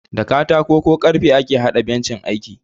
Da katako ko karfe ake haɗa bencin aiki